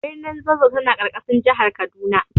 Birnin Zazzau tana ƙarƙashin jihar Kaduna.